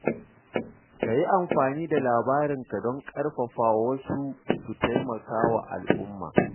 Ka yi amfani da labarinka don ƙarfafa wasu su taimaka wa al’umma.